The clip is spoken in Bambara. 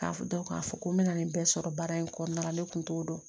Ka dɔn k'a fɔ ko n bɛna nin bɛɛ sɔrɔ baara in kɔnɔna la ne kun t'o dɔn